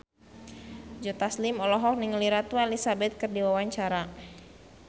Joe Taslim olohok ningali Ratu Elizabeth keur diwawancara